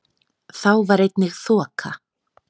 Þá var einnig þoka